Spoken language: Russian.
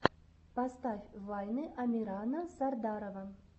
поставь вайны амирана сардарова